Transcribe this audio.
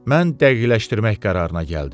Mən dəqiqləşdirmək qərarına gəldim.